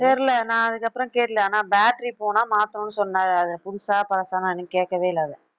தெரியலே நான் அதுக்கப்புறம் தெரியலே ஆனா battery போனா மாத்தணும்ன்னு சொன்னாரு அது புதுசா பழசான்னு நான் இன்னும் கேட்கவே இல்லை அதை